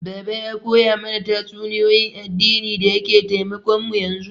Baba ya koya mana tatsuniyoyin addini da yake taimakon mu yanzu